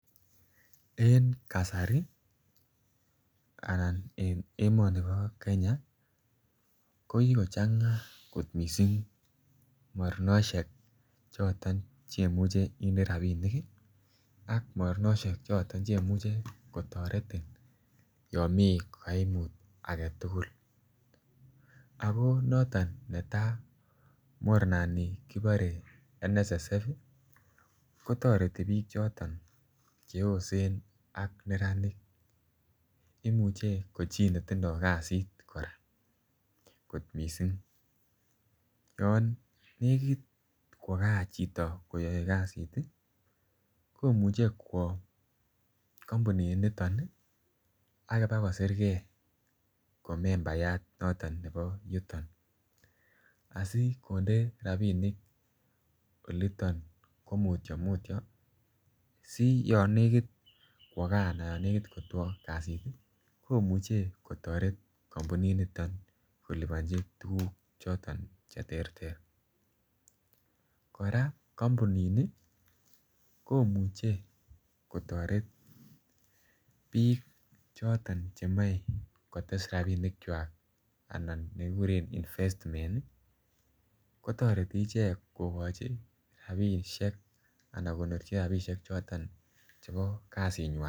En kasari anan emonibo Kenya ko kikochanga kot missing mornoshek choton chemuche inde rabinik ii ak mornoshek choton chemuche kotoretin tomii koimut agetugul. Ako noton netaa mornani kibore NSSF ii kotoreti biik choton che yosen ak neranik imuche ko chi netindo kazit koraa kot missing. Yon nekit kwo gaa chito koyoe kazit ii komuche kwo kompunit niton ak bakosirgee ko membayat nebo yuton asi konde rabinik oleton ko mutyo mutyo si yon negit kwo gaa anan yon negit kobek kazit ii komuche kotoret kompunit niton kolibonji bilishek choton che terter. Koraa kompunini komuche kotoret biik choton che moi kotes rabinikwak ana nekiguren investment ii kotoreti ichek kogoji ana ko gonorji rabishek chebo kazinywan